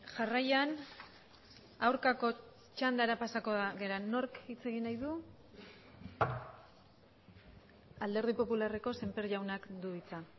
jarraian aurkako txandara pasako gara nork hitz egin nahi du alderdi popularreko semper jaunak du hitza